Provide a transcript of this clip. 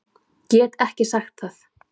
Get ekki sagt það.